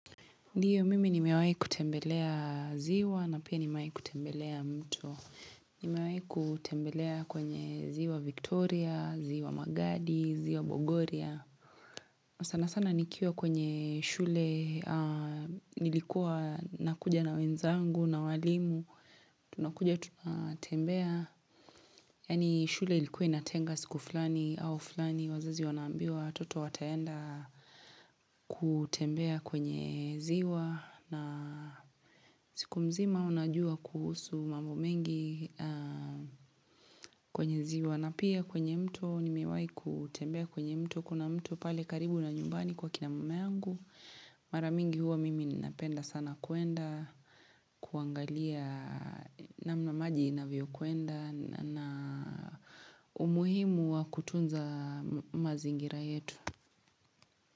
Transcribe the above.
Ndio mimi nimewahi kutembelea ziwa na pia nimewahi kutembelea mto. Nimewahi kutembelea kwenye ziwa Victoria, ziwa Magadi, ziwa Bogoria. Kwa sana sana nikiwa kwenye shule nilikuwa nakuja na wenzangu na walimu. Tunakuja tunatembea. Yaani shule ilikuwa inatenga siku fulani au fulani. Wazazi wanaambiwa watoto wataenda kutembea kwenye ziwa na siku mzima unajua kuhusu mambo mengi kwenye ziwa. Na pia kwenye mto, nimewahi kutembea kwenye mto. Kuna mto pale karibu na nyumbani kwa kina mama yangu Mara mingi huwa mimi ninapenda sana kuenda kuangalia namna maji inavyokwenda na umuhimu wa kutunza mazingira yetu.